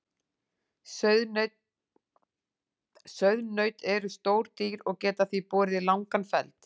Sauðnaut eru stór dýr og geta því borið langan feld.